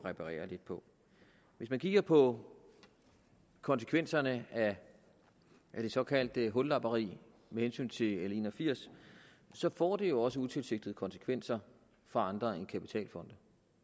reparere lidt på hvis man kigger på konsekvenserne af det såkaldte hullapperi med hensyn til l en og firs så får det jo også utilsigtede konsekvenser for andre end kapitalfonde